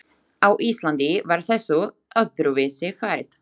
Á Íslandi var þessu öðruvísi farið.